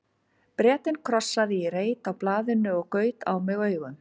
Bretinn krossaði í reit á blaðinu og gaut á mig augum.